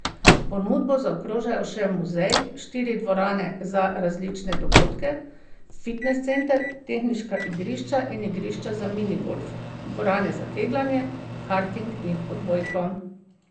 Ponudbo zaokrožajo še muzej, štiri dvorane za različne dogodke, fitnes center, teniška igrišča in igrišča za minigolf, dvorane za kegljanje, karting in odbojko.